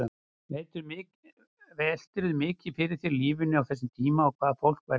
Veltirðu mikið fyrir þér lífinu á þessum tíma og hvað fólk væri að hugsa?